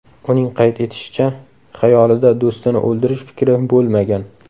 Uning qayd etishicha, xayolida do‘stini o‘ldirish fikri bo‘lmagan.